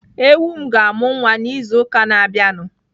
Ewu m ga-amụ nwa n'izu ụka na-abịanụ.